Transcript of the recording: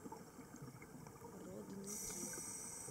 родники